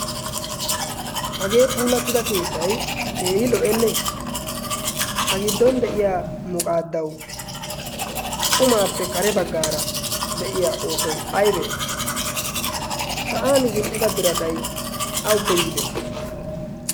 hagee puulattida keettay keehi lo'enne a giddon de'iya muqaaddau xumaappe kare baggaara de'iya oosoy aybee sayan zin'ida biratay awuppe yiide?